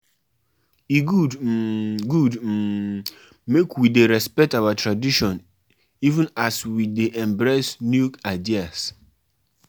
E good um good um make we dey respect our tradition even as we dey embrace new ideas.